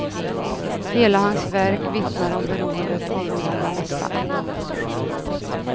Hela hans verk vittnar om beroendet av de gamla mästarna.